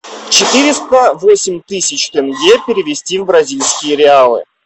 четыреста восемь тысяч тенге перевести в бразильские реалы